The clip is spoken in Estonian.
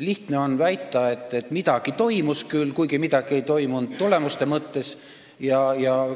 Lihtne on väita, et midagi toimus, kuigi midagi ei toimunud tulemuste mõttes,